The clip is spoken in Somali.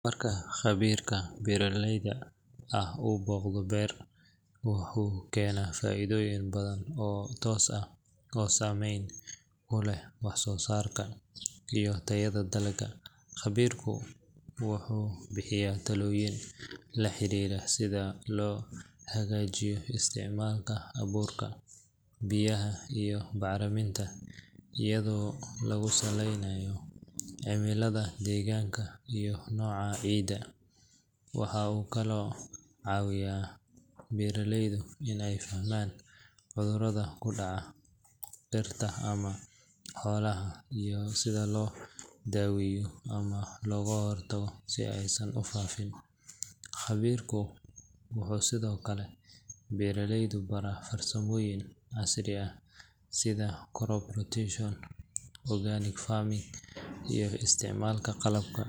Marka khabiirka beeralayda ah uu booqdo beer, wuxuu keenaa faa’iidooyin badan oo toos ah oo saameyn ku leh wax soo saarka iyo tayada dalagga. Khabiirku wuxuu bixiyaa talooyin la xiriira sida loo hagaajiyo isticmaalka abuurka, biyaha, iyo bacriminta iyadoo lagu saleynayo cimilada deegaanka iyo nooca ciidda. Waxa uu kaloo caawiyaa beeraleyda in ay fahmaan cudurrada ku dhaca dhirta ama xoolaha iyo sida loo daweeyo ama looga hortago si aysan u faafin. Khabiirku wuxuu sidoo kale beeraleyda baraa farsamooyin casri ah sida crop rotation, organic farming, iyo isticmaalka qalabka